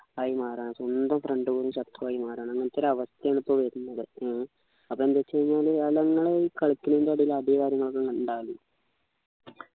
time ആണ് സ്വന്തം friend പോലും ശത്രു ആയി മാറാണ് അങ്ങനത്തെ ഒരു അവസ്ഥയാണിപ്പോ വരുന്നത് ഏർ അപ്പൊ എന്ത് വെച്ച് കഴിഞ്ഞാല് അതങ്ങനെ കളിക്കല് ന്നു അടി കാര്യങ്ങളൊക്കെ ഉണ്ടാവല്